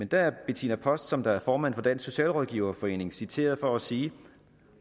der er bettina post som er formand for dansk socialrådgiverforening citeret for at sige